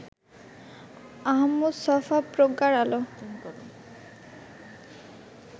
আহমদ ছফা: প্রজ্ঞার আলো